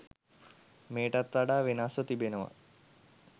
මෙයටත් වඩා වෙනස්ව තිබෙනවා